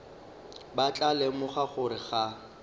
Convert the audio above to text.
ba tla lemoga gore ga